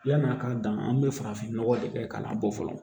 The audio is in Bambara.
Yann'a ka dan an bɛ farafinnɔgɔ de kɛ k'a bɔ fɔlɔ